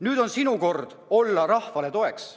Nüüd on sinu kord olla rahvale toeks.